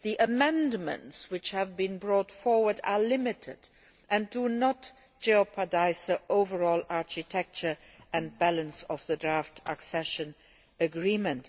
The amendments which have been brought forward are limited and do not jeopardise the overall architecture and balance of the draft accession agreement.